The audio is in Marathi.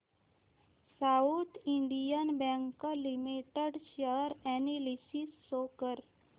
south Indian Bank Limited share analysis show कर